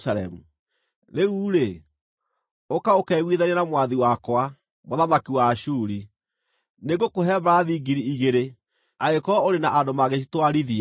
“ ‘Rĩu-rĩ, ũka ũkeiguithanie na mwathi wakwa, mũthamaki wa Ashuri: Nĩngũkũhe mbarathi ngiri igĩrĩ angĩkorwo ũrĩ na andũ mangĩcitwarithia!